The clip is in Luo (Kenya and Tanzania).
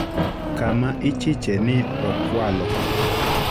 kama ichiche ni okwalo